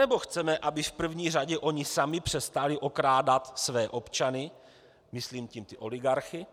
Anebo chceme, aby v první řadě oni sami přestali okrádat své občany, myslím tím ty oligarchy,